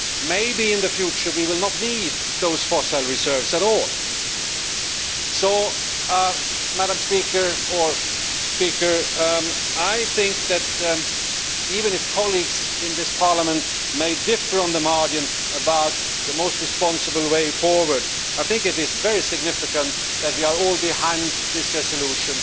Maybe in the future we will not need those fossil reserves at all. So I think that, even if colleagues in this Parliament may differ on the margin about the most responsible way forward, I think it is very significant that we are all behind this resolution.